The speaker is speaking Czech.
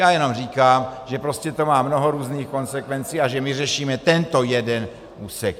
Já jenom říkám, že prostě to má mnoho různých konsekvencí a že my řešíme tento jeden úsek.